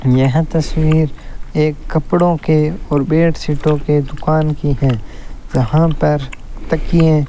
यह तस्वीर एक कपड़ों के और बेडसीटों के दुकान की है जहां पर तकिये --